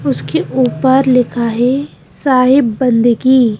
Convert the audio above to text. उसके ऊपर लिखा हैसाहिब बंदगी।